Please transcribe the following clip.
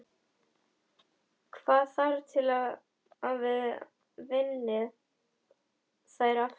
Hvað þarf til að þið vinnið þær aftur?